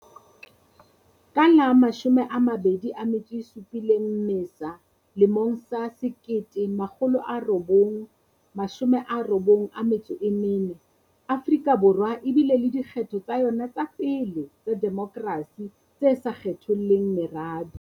Ka la 27 Mmesa 1994, Afrika Borwa e bile le dikgetho tsa yona tsa pele tsa demokrasi tse sa kgetholleng merabe.